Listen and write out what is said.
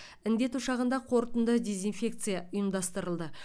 індет ошағында қорытынды дезинфекция ұйымдастырылды